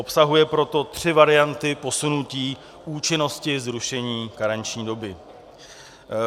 Obsahuje proto tři varianty posunutí účinnosti zrušení karenční doby.